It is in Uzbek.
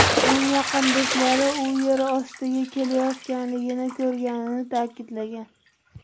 Uning yaqin do‘stlari u yer ostiga ketayotganligini ko‘rganini ta’kidlagan.